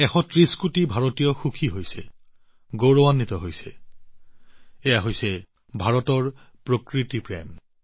১৩০ কোটি ভাৰতীয় সুখী গৌৰৱেৰে পৰিপূৰ্ণ এয়া হৈছে ভাৰতৰ প্ৰকৃতিপ্ৰেম